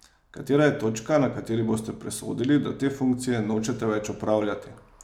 Katera je točka, na kateri boste presodili, da te funkcije nočete več opravljati?